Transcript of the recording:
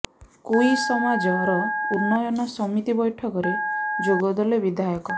କୁଇ ସମାଜ ର ଉନ୍ନୟନ ସମିତି ବୈଠକ ରେ ଯୋଗଦେଲେ ବିଧାୟକ